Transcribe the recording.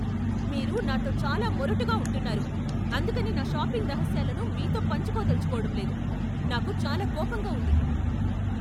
మీరు నాతో చాలా మొరటుగా ఉంటున్నారు, అందుకని నా షాపింగ్ రహస్యాలను మీతో పంచుకోదలుచుకోడంలేదు, నాకు చాలా కోపంగా ఉంది.